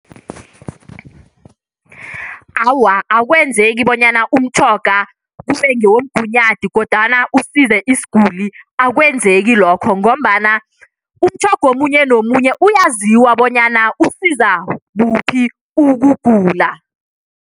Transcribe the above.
Awa, akwenzeki bonyana umtjhoga kube ngewomgunyathi kodwana usize isiguli, akwenzeki lokho ngombana umtjhoga omunye nomunye uyaziwa bonyana usiza kuphi ukugula.